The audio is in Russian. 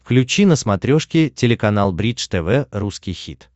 включи на смотрешке телеканал бридж тв русский хит